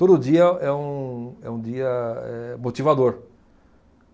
Todo dia é um, é um dia, eh, motivador.